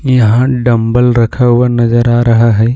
यहां डंबल रखा हुआ नजर आ रहा है।